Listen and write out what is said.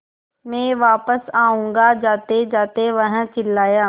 मैं वापस आऊँगा जातेजाते वह चिल्लाया